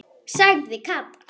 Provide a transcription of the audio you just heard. sagði Kata.